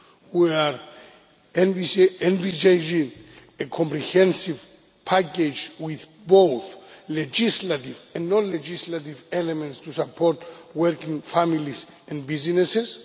We are envisaging a comprehensive package with both legislative and non legislative elements to support working families and businesses.